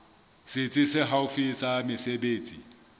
setsi se haufi sa mesebetsi